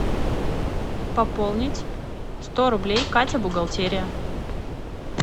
пополнить сто рублей катя бухгалтерия